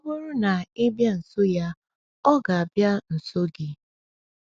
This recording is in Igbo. Ọ bụrụ na ị bịa nso ya, ọ ga-abịa nso gị.